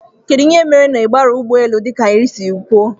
Kedụ ihe mere na ibiaghi ụgbọ élú dika anyị siri kwụọ?